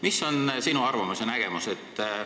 Mis on sinu arvamus?